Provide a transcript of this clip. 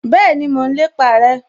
Bẹ́ẹ̀ni, mo n lépa rẹ